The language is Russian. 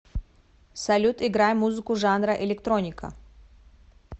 салют играй музыку жанра электроника